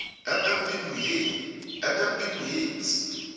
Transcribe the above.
mm p moitse